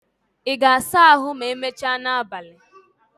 Ị ga-asa ahụ ma emechaa n'abalị?